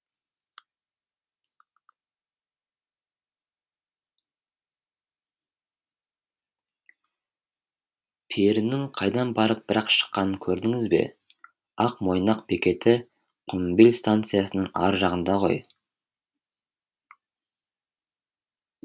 перінің қайдан барып бір ақ шыққанын көрдіңіз бе ақ мойнақ бекеті құмбел станциясының ар жағында ғой